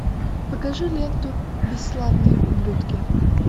покажи ленту бесславные ублюдки